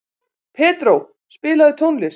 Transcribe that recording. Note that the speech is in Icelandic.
Pedró, spilaðu tónlist.